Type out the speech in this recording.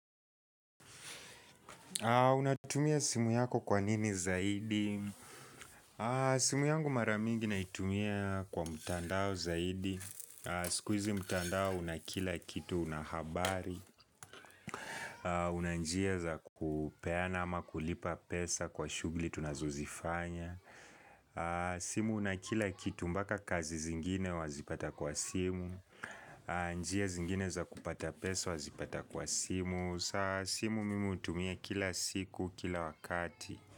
Unatumia simu yako kwa nini zaidi? Simu yangu mara mingi naitumia kwa mtandao zaidi. Sikuizi mtandao una kila kitu una habari. Una njia za kupeana ama kulipa pesa kwa shughuli tunazozifanya. Simu una kila kitu mpaka kazi zingine wazipata kwa simu. Njia zingine za kupata pesa wazipata kwa simu. Sa simu mimi hutumia kila siku kila wakati.